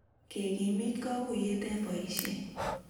Kekimit kaguiyet eng boisiet